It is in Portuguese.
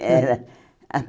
Era.